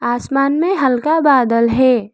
आसमान में हल्का बादल है।